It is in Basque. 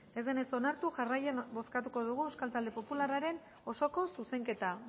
ez denez onartu jarraian bozkatuko dugu euskal talde popularraren osoko zuzenketa